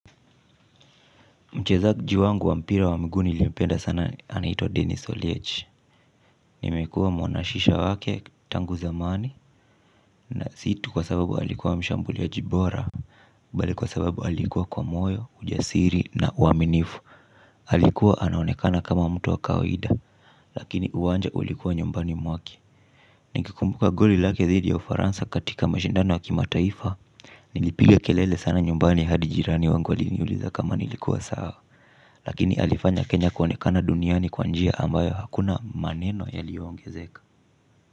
Mchezaji wangu wa mpira wa miguu niiliyempenda sana anahitwa Dennis Oliechi. Nimekuwa mwanashisha wake tangu zamani na si tu kwa sababu alikuwa mshambuliaji bora Bale kwa sababu alikuwa kwa moyo, ujasiri na uaminifu. Alikuwa anaonekana kama mtu wa kawaida. Lakini uwanja ulikuwa nyumbani mwake. Nikikumbuka goli lake dhidi ya ufaransa katika mashindano ya kimataifa nilipiga kelele sana nyumbani hadi jirani wangu aliniuliza kama nilikuwa sawa. Lakini alifanya Kenya kuonekana duniani kwa njia ambayo hakuna maneno yaliongezeka.